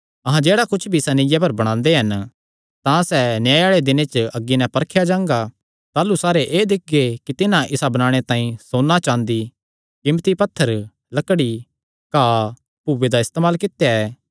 अहां जेह्ड़ा कुच्छ भी इसा नीआ पर बणांदे हन तां सैह़ न्याय आल़े दिने अग्गी नैं परखेया जांगा ताह़लू सारे एह़ दिक्खगे कि तिन्हां इसा बणाणे तांई सोन्ना चाँदी कीमती पत्थर लकड़ी घाह भूये दा इस्तेमाल कित्या ऐ